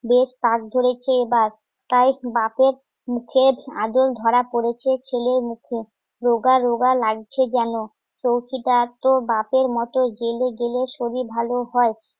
বেশ কাঁক ধরেছে বাস তাই বাপের মুখের আদর ধরা পড়েছে ছেলের মুখে রোগা লাগছে কেন? চৌকিদার তো বাপের মতো জেলে গেলে সবই ভালো হয়